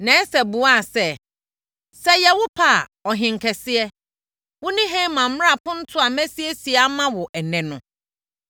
Na Ɛster buaa sɛ, “Sɛ ɛyɛ wo pɛ a, Ɔhene kɛseɛ, wo ne Haman mmra apontoɔ a masiesie ama wo ɛnnɛ no.”